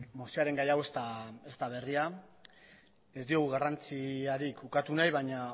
mozioaren gai hau ez da berria ez diogu garrantzirik ukatu nahi baina